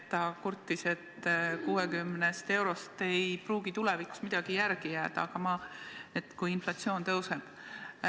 Ta kurtis, et 60 eurost ei pruugi tulevikus midagi järele jääda, kui inflatsioon kasvab.